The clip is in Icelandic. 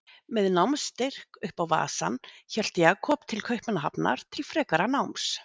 Með námsstyrk upp á vasann hélt Jakob til Kaupmannahafnar til frekara náms.